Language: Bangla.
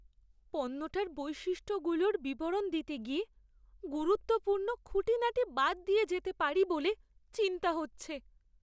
পণ্যটার বৈশিষ্ট্যগুলোর বিবরণ দিতে গিয়ে গুরুত্বপূর্ণ খুঁটিনাটি বাদ দিয়ে যেতে পারি বলে চিন্তা হচ্ছে।